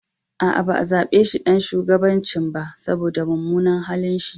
Aa, ba zabe shi ɗan shugabancin ba, saboda mumunan halin shi.